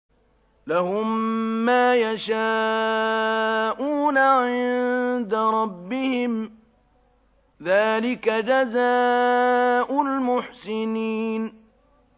لَهُم مَّا يَشَاءُونَ عِندَ رَبِّهِمْ ۚ ذَٰلِكَ جَزَاءُ الْمُحْسِنِينَ